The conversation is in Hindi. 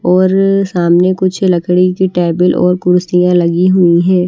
और सामने कुछ लकड़ी की टेबल और कुर्सियां लगी हुई है।